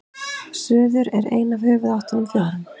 suður er ein af höfuðáttunum fjórum